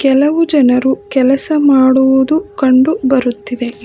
ಕೆಲವು ಜನರು ಕೆಲಸ ಮಾಡುವುದು ಕಂಡು ಬರುತ್ತಿದೆ.